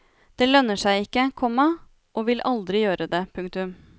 Det lønner seg ikke, komma og vil aldri gjøre det. punktum